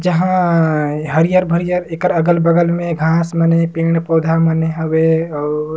जहाँ हरियर-हरियर एकर अगल-बगल में घाँस मन हे पेड़-पौधा मन हवे अऊ--